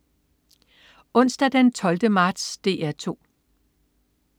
Onsdag den 12. marts - DR 2: